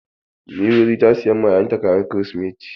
Nzogi ta sayan ma ƴaƴan ta kayan kirisimeti.